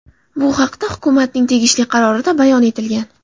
Bu haqda hukumatning tegishli qarorida bayon etilgan.